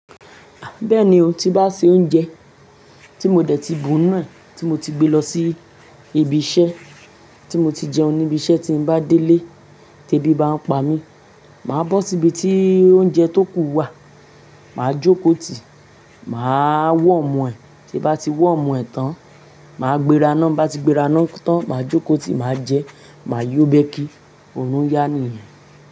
Bẹ́ẹ̀ni o, tí bá ṣe oúnjẹ tí mo dẹ̀ ti bù nù, tí mo ti gbé lọ sí ibi iṣẹ́, tí mo ti jẹun níbi iṣẹ́, tí n bá délé tẹ́ bí bá n pa mí, màá bó síbi tí oúnjẹ tó kù wà, màá jókòó tì, màá warm ẹ̀, tí bá ti warm ẹ̀ tán, màá gbéra ná, bá ti gbéra ná tán, màá jókòó tì, màá jẹ, màá yó bẹ́kí, òrun yá nìyẹn.